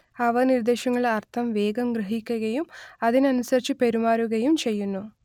അവ നിർദ്ദേശങ്ങളുടെ അർത്ഥം വേഗം ഗ്രഹിക്കുകയും അതിനനുസരിച്ച് പെരുമാറുകയും ചെയ്യുന്നു